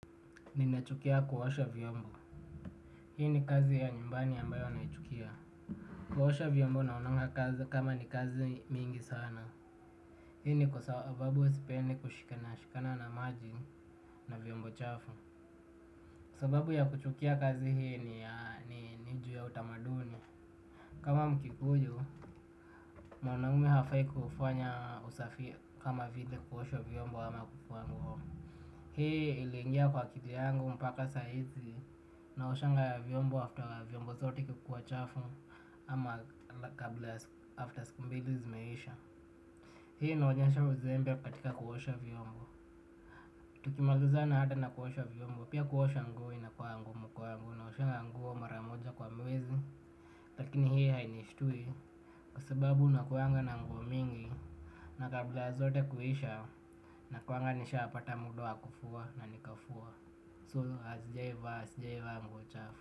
Ninachukia kuosha vyombo. Hii ni kazi ya nyumbani ambayo naichukia. Kuosha vyombo naonaga kama ni kazi mingi sana. Hii ni kwa sababu huwa sipendi kushikana na maji na vyombo chafu. Sababu ya kuchukia kazi hii ni juu ya utamaduni. Kama mkikuyu, mwanaume hafai kufanya usafi kama vile kuosha vyombo ama kufua nguo. Hii iliingia kwa kili yangu mpaka saizi naoshanga vyombo after vyombo zote kukua chafu ama kabla after siku mbili zimeisha. Hi inaonyesha uzembe katika kuhosha vyombo. Tukimalizana na kuosha vyombo pia kuosha nguo inakuanga ngumu kwangu naoshanga nguo mara moja kwa mwezi. Lakini hii hainistui kusababu nakuanga na mgo mingi na kabla zote kuhisha na kuanga nisha apata mudoa kufua na nikafua. Sijawai vaa nguo chafu.